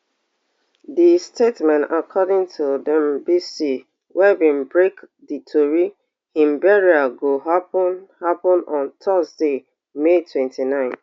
di statement according to wey bin break di tori im burial go happun happun on thursday may twenty-nine